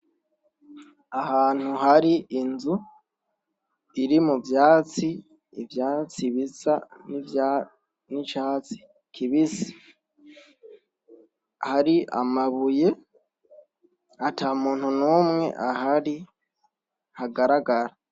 Ahantu hari inzu, iri muvyatsi ,ivyatsi bisa n'icatsi kibisi, hari amabuye atamuntu n'umwe ahari ,hagaragara.